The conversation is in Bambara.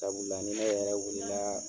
Sabula ni yɛrɛ wuli la.